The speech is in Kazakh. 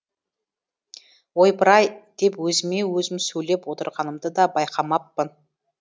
ойпыр ай деп өзіме өзім сөйлеп отырғанымды да байқамаппын